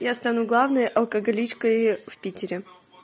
я стану главной алкоголичкой в питере